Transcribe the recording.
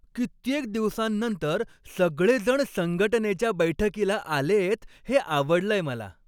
कित्येक दिवसांनंतर सगळेजण संघटनेच्या बैठकीला आलेयत हे आवडलंय मला.